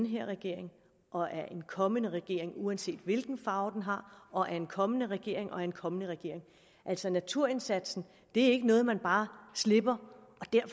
her regering og af en kommende regering uanset hvilken farve den har og af en kommende regering og af en kommende regering altså naturindsatsen er ikke noget man bare slipper